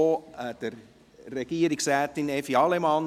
Frau Regierungsrätin Evi Allemann.